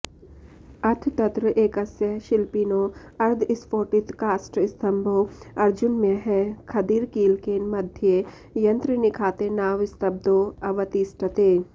अथ तत्रएकस्य शिल्पिनो अर्धस्फोटितकाष्ठस्तम्भो अर्जुनमयः खदिरकीलकेन मध्ये यन्त्रनिखातेनावस्तब्धो अवतिष्ठते